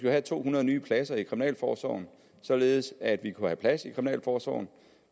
have to hundrede nye pladser i kriminalforsorgen således at vi kunne have plads i kriminalforsorgen